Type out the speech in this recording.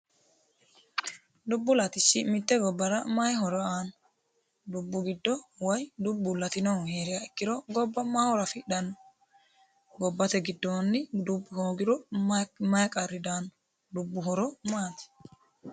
Dubbu latishshi mite gobbara mayi horo aano dubbu giddo woyi dubbu latinohu heeriro gobba mayi horo affidhano ,gobbate giddoni dubbu hoogiro mayi qarri daano, dubbu horo maati.